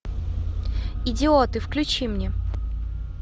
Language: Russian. идиоты включи мне